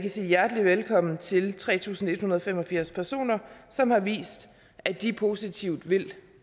sige hjertelig velkommen til tre tusind en hundrede og fem og firs personer som har vist at de positivt vil